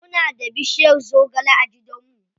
Muna da bushiyar zogale a gidan mu.